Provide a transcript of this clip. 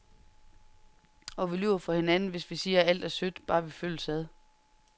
Og vi lyver for hinanden, hvis vi siger, alt er sødt, bare vi følges ad.